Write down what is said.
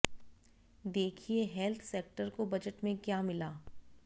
देखिए health sector को budget में क्या मिला